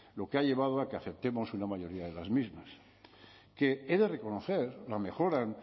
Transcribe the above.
lo que ha llevado a que aceptemos una mayoría de las mismas que he de reconocer la mejoran